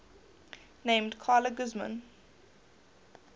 named carla guzman